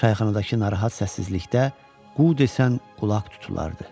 Çayxanadakı narahat səssizlikdə qu desən qulaq tutulardı.